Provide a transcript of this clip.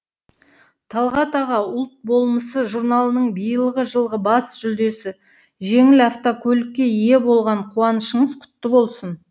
талғат аға ұлт болмысы журналының биылғы жылғы бас жүлдесі жеңіл автокөлікке ие болған қуанышыңыз құтты болсын